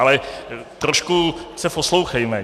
Ale trošku se poslouchejme.